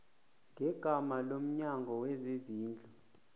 ngegama lomnyango wezezindlu